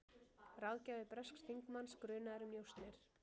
Ráðgjafi bresks þingmanns grunaður um njósnir